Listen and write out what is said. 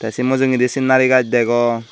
te se mujugedi sinari gaj degong.